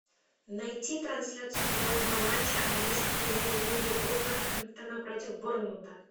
найти трансляцию футбольного матча английской премьер лиги вулверхэмптона против борнмута